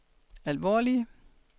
alvorlige